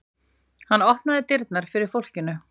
Hann opnaði dyrnar fyrir fólkinu.